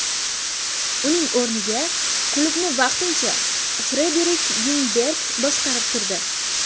Uning o‘rniga klubni vaqtincha Frederik Yungberg boshqarib turdi.